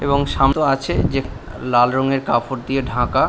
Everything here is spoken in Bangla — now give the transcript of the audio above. এবং শান্ত আছে যে লাল রঙের কাপড় দিয়ে ঢাকা।